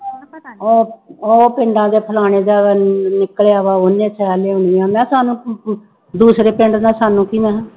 ਉਹ ਉਹ ਪਿੰਡਾਂ ਦੇ ਫਲਾਣੀ ਜਗ੍ਹਾ ਨਿਕਲਿਆ ਵਾ ਉਹਨੇ ਸੈਅ ਲਿਆਉਣੀ ਆਂ ਮੈਂ ਕਿਹਾ ਸਾਨੂੰ ਦੂਸਰੇ ਪਿੰਡ ਦਾ ਸਾਨੂੰ ਕੀ ਮੈਂ ਕਿਹਾ